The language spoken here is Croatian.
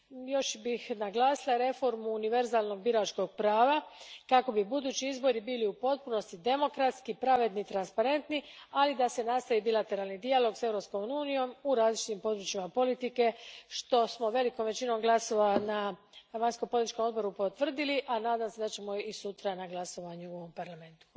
Još bih naglasila reformu univerzalnog biračkog prava kako bi budući izbori bili u potpunosti demokratski, pravedni, transparentni, ali da se nastavi bilateralni dijalog s Europskom unijom u različitim područjima politike, što smo velikom većinom glasova na vanjsko političkom odboru potvrdili, a nadam se da ćemo i sutra na glasovanju u Parlamentu.